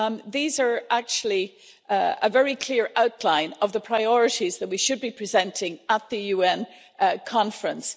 These are actually a very clear outline of the priorities that we should be presenting at the UN Conference.